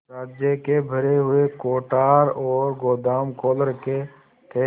राज्य के भरे हुए कोठार और गोदाम खोल रखे थे